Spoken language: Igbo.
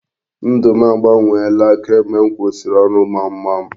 Ndụ m agbanweela kamgbe m kwụsịrị ọrụ gbamgbam.